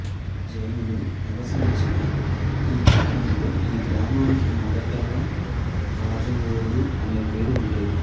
జైనులు నివసించిన ఆ కాలంలో ఈ గ్రామానికి మొదటగా రాజవోలు అనే పేరు ఉండేది